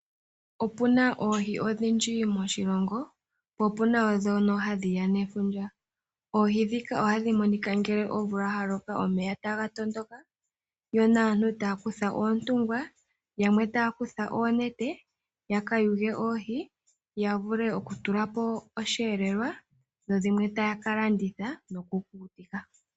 Opuna oohi odhindji moshilongo, po opuna wo dhono hadhiya nefundja. Oohi dhika ohadhi monika ngele omvula ya loka omeya taga tondoka yo naantu taya kutha oontungwa yamwe taya kutha oontete yaka yuge oohi ya vule okutulapo oshi elelwa dho dhimwe taya ka landitha noku kukutika.